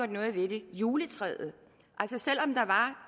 noget ved det juletræet